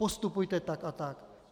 Postupujte tak a tak.